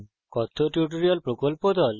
কথ্য tutorial প্রকল্প the